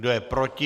Kdo je proti?